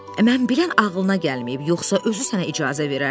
Mən bilən ağlına gəlməyib, yoxsa özü sənə icazə verərdi.